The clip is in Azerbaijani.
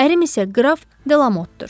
Ərim isə qraf Delamotdur.